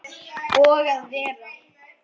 Og að vera